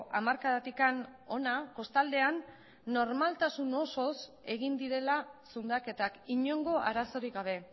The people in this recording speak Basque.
hamarkadatik hona kostaldean normaltasun osoz egin direla zundaketak inongo arazorik gabe